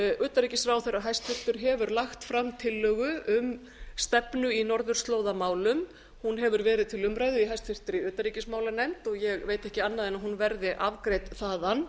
utanríkisráðherra hæstvirtur hefur lagt fram tillögu um stefnu í norðurslóðamálum hún hefur verið til umræðu í háttvirtri utanríkismálanefnd og ég veit ekki annað en að hún verði afgreidd þaðan